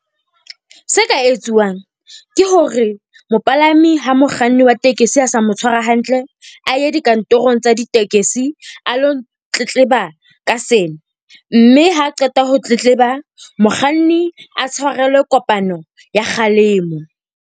Se ka etsuwang ke hore mopalami ha mokganni wa tekesi a sa mo tshwara hantle, a ye dikantorong tsa ditekesi, a ilo tletleba ka sena. Mme ha a qeta ho tletleba, mokganni a tshwarelwe kopano ya kgalemo.